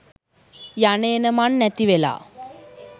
යනඑන මං නැතිවෙලා